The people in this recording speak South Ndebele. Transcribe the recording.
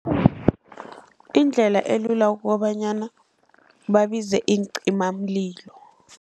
Indlela elula kukobanyana babize iincimamlilo.